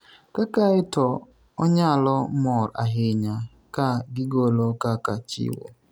kaka e to onyalo mor ahinya ka gigolo kaka chiwo